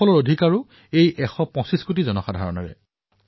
পৰিণামৰ মালিকো এই এশ পঁচিশ কোটি ভাৰতীয়ই হয়